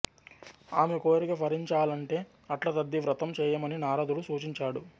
ఆమె కోరిక ఫలించాలంటే అట్లతద్ది వ్రతం చేయమని నారదుడు సూచించాడు